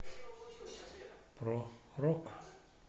про рок